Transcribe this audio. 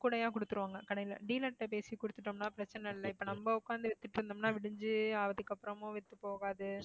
கூடைய கொடுத்திருவாங்க கடையில dealer கிட்ட பேசி கொடுத்துட்டோம்னா பிரச்சனை இல்ல இப்ப நம்ம உட்கார்ந்து வித்துட்டு இருந்தோம்னா விடிஞ்சி ஆவதுக்கப்புறமும் வித்து போகாது